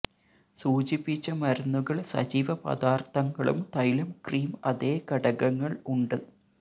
സൂചിപ്പിച്ച മരുന്നുകൾ സജീവ പദാർത്ഥങ്ങളും തൈലം ക്രീം അതേ ഘടകങ്ങൾ ഉണ്ട്